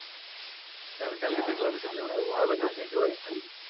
যা আমি কালকে দেকলাম ভাই